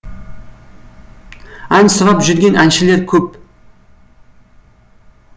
ән сұрап жүрген әншілер көп